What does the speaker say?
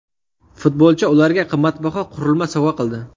Futbolchi ularga qimmatbaho qurilma sovg‘a qildi.